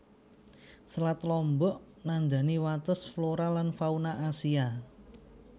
Selat Lombok nandani wates flora lan fauna Asia